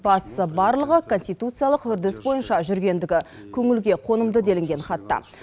бастысы барлығы конституциялық үрдіс бойынша жүргендігі көңілге қонымды делінген хатта